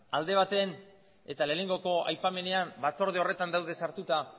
alde batean eta lehenengoko aipamenean batzorde horretan daude sartuta